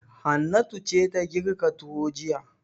Hannatu ce ta girka tuwo jiya.